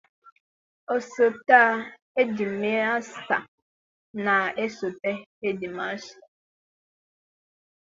Osote hedimasịta na-esote hedimasịta.